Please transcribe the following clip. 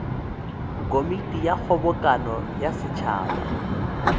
komiti ya kgobokano ya setšhaba